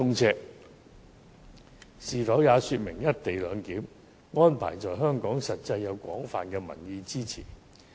這是否說明"一地兩檢"安排在香港獲廣泛民意支持？